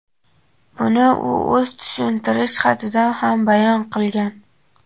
Buni u o‘z tushuntirish xatida ham bayon qilgan.